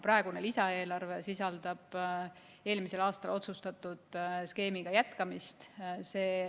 Praegune lisaeelarve sisaldab eelmisel aastal otsustatud skeemi jätkamist.